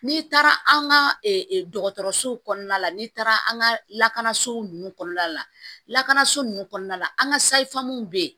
N'i taara an ka dɔgɔtɔrɔsow kɔnɔna la n'i taara an ka lakanaso nunnu kɔnɔna la lakanaso nunnu kɔnɔna la an ka be yen